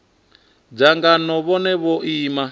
danga ngeno vhone vho ima